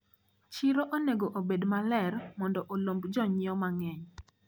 Chiro onego obed maler mondo olomb jonyiewo mang`eny.